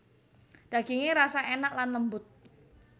Dagingé rasa énak lan lembut